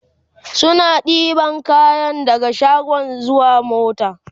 suna ɗebi kayan daga shago zuwa mota